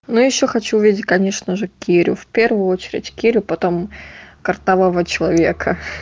ну ещё хочу увидеть конечно же керю в первую очередь кирю потом картавого человека